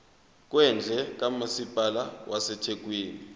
kwendle kamasipala wasethekwini